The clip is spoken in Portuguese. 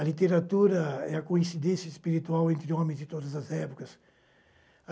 A literatura é a coincidência espiritual entre homens de todas as épocas.